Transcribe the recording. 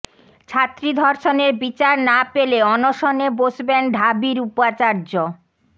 ছাত্রী ধর্ষণের বিচার না পেলে অনশনে বসবেন ঢাবির উপাচার্য